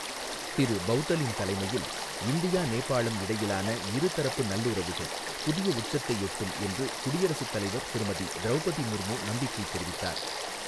திரு பௌதலின் தலைமையில் இந்தியா நேபாளம் இடையிலான இரு தரப்பு நல்லுறவுகள் புதிய உச்சத்தை எட்டும் என்று குடியரசுத் தலைவர் திருமதி திரௌபதி முர்மு நம்பிக்கை தெரிவித்தார்.